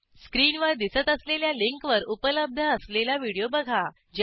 स्क्रीनवर दिसत असलेल्या लिंकवर उपलब्ध असलेला व्हिडिओ बघा